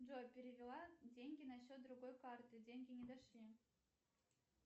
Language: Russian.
джой перевела деньги на счет другой карты деньги не дошли